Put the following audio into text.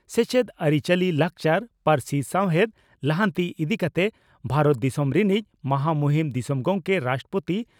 ᱥᱮᱪᱮᱫ ᱟᱨᱤᱪᱟᱞᱤ, ᱞᱟᱠᱪᱟᱨ ,,ᱯᱟᱹᱨᱥᱤ ᱥᱟᱣᱦᱮᱫ ᱞᱟᱦᱟᱱᱛᱤ ᱤᱫᱤ ᱠᱟᱛᱮ ᱵᱷᱟᱨᱚᱛ ᱫᱤᱥᱚᱢ ᱨᱤᱱᱤᱡ ᱢᱚᱦᱟᱢᱩᱦᱤᱱ ᱫᱤᱥᱚᱢ ᱜᱚᱢᱠᱮ (ᱨᱟᱥᱴᱨᱚᱯᱳᱛᱤ)